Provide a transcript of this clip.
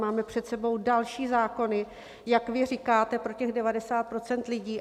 Máme před sebou další zákony, jak vy říkáte, pro těch 90 % lidí.